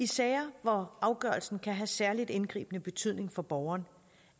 sager hvor afgørelsen kan have særligt indgribende betydning for borgeren